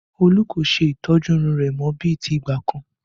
Olú kò ṣe ìtọ́jú irun rẹ mọ bí ti ìgbà kan